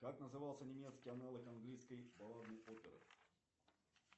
как назывался немецкий аналог английской балладной оперы